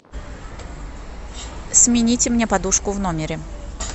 смените мне подушку в номере